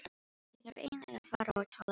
Ég þarf eiginlega að fara og tala við mann.